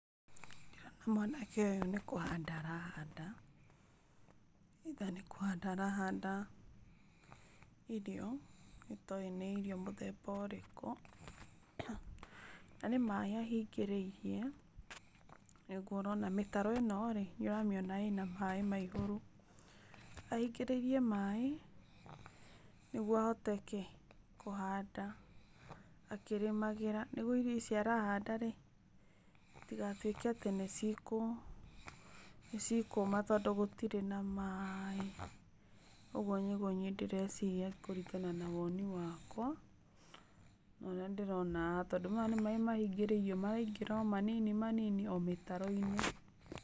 Ndĩrona mwanake ũyũ nĩkũhanda arahanda. Either nĩkũhanda arahanda irio itoĩ nĩ irio mũthemba ũrĩkũ, na nĩ maaĩ ahĩngĩrĩirie, nĩguo ũrona mĩtaro ĩno-rĩ, nĩũramĩona ĩna maaĩ ma igũrũ. Ahingĩrĩirie maaĩ nĩguo ahote kĩ? kũhanda, akĩrĩmagira. Nĩguo irio ici arahanda-rĩ itigatuĩke atĩ nĩcikũma tondũ gũtirĩ na maaĩ. Ũguo nĩguo niĩ ndĩreciria kũringana na woni wakwa, ũria ndĩrona haha, tondũ maya nĩ maaĩ mahingĩrĩirio maraingĩra o manini manini o mĩtaro-inĩ.